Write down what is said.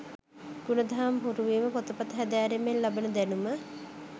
ගුණදහම් හුරුවීම, පොතපත හැදෑරීමෙන් ලබන දැනුම